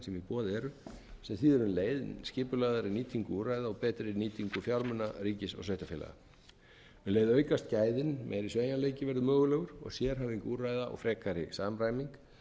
boði eru sem þýðir um leið skipulagðari nýtingu úrræða og betri nýtingu fjármuna ríkis og sveitarfélaga um leið aukast gæðin meiri sveigjanleiki verður mögulegur og sérhæfing úrræða og frekari samræming auk þess sem